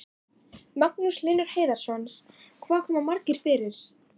Magnús Hlynur Hreiðarsson: Hvað komast margir fyrir?